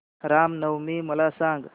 राम नवमी मला सांग